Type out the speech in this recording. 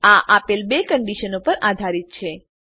આ આપેલ બે કંડીશનો પર આધારિત છે